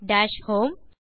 dash home